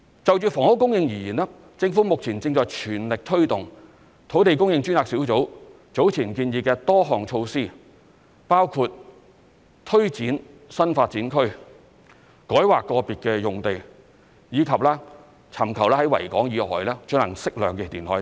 就房屋供應而言，政府目前正在全力推動土地供應專責小組早前建議的多項措施，包括推展新發展區、改劃個別用地，以及尋求在維港以外進行適量填海等。